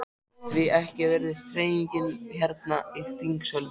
Því ekki virðist hreyfingin hérna í þingsölum?